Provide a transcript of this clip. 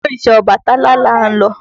Ìdí òrìṣà Ọbàtálá là ń lọ.